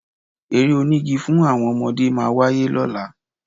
Eré onígi fún àwọn ọmọdé máa wáyé lọ́la